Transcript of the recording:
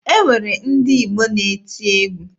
E nwere ndị Igbo na-eti egwu.